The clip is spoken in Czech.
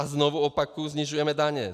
A znovu opakuji, snižujeme daně.